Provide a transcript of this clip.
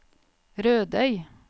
Rødøy